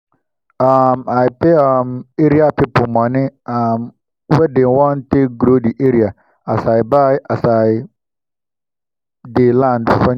um i pay um area people money um wey dem wan take grow the area as i buy as i buy dey land finish